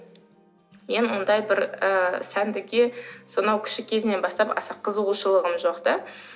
мен ондай бір ы сәндікке сонау кіші кезімнен бастап аса қызығушылығым жоқ та